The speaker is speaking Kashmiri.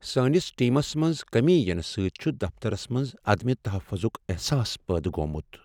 سٲنس ٹیمس منٛز کمی یِنہٕ سۭتۍ چھ دفترس منٛز عدم تحفظک احساس پٲدٕ گوٚومت۔